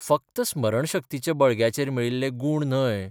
फकत स्मरणशक्तीच्या बळग्याचेर मेळिल्ले गूण न्हय.